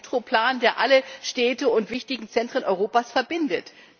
Einen Metroplan, der alle Städte und wichtigen Zentren Europas verbindet.